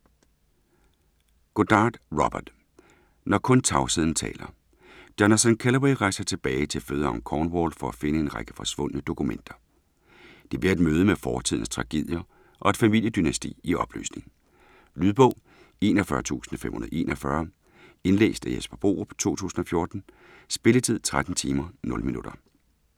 Goddard, Robert: Når kun tavsheden taler Jonathan Kellaway rejser tilbage til fødeegnen Cornwall for at finde en række forsvundne dokumenter. Det bliver et møde med fortidens tragedier og et familiedynasti i opløsning. Lydbog 41541 Indlæst af Jesper Borup, 2014. Spilletid: 13 timer, 0 minutter.